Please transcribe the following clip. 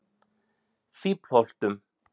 Fíflholtum